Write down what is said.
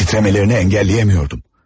Titrəmələrinə əngəlləyə bilmirdim.